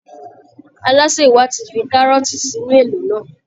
Alásè wa ti fi kárọ́ọ̀tì sínú èlò náà